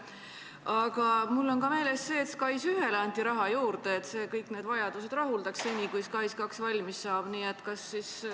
Aga mul on meeles ka see, et SKAIS1-le anti raha juurde, et see kõik vajadused rahuldaks, kuni SKAIS2 valmis saab.